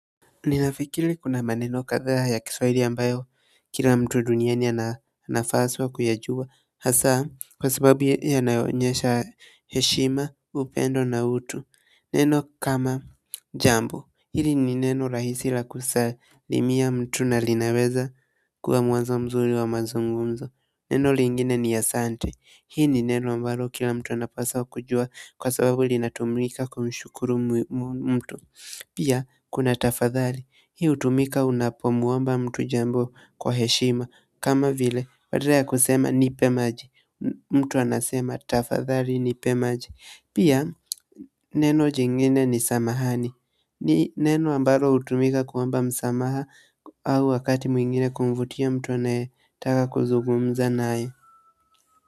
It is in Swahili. Ninafikiri kuna maneno kadhaa ya Kiswahili ambayo kila mtu duniani anapaswa kuyajua hasa kwa sababu yanayonyesha heshima upendo na utu neno kama jambo hili ni neno rahisi la kusalimia mtu na linaweza kuwa mwanzo mzuri wa mazungumzo neno lingine ni asante hii ni neno ambalo kila mtu anapaswa kujua kwa sababu linatumika kwa mshukuru mtu pia kuna tafadhali hii hutumika unapomwomba mtu jambo kwa heshima kama vile badala ya kusema nipe maji mtu anasema tafadhali nipe maji pia neno jingine ni samahani ni neno ambalo hutumika kuomba msamaha au wakati mwingine kumvutia mtu anayetaka kuzungumza naye.